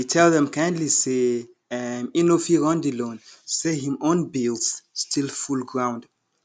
he tell dem kindly say um e no fit run the loan say him own bills still full ground